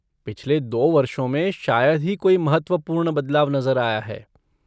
पिछले दो वर्षों में शायद ही कोई महत्वपूर्ण बदलाव नज़र आया है।